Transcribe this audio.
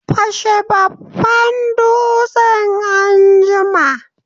Fashe babban dutsen anjima!